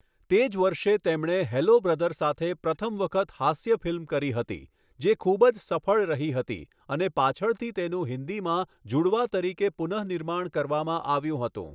તે જ વર્ષે, તેમણે 'હેલો બ્રધર' સાથે પ્રથમ વખત હાસ્ય ફિલ્મ કરી હતી, જે ખૂબ જ સફળ રહી હતી અને પાછળથી તેનું હિન્દીમાં 'જુડવા' તરીકે પુનઃનિર્માણ કરવામાં આવ્યું હતું.